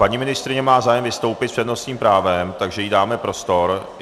Paní ministryně má zájem vystoupit s přednostním právem, takže jí dáme prostor.